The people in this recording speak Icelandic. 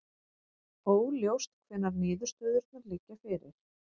Óljóst hvenær niðurstöðurnar liggja fyrir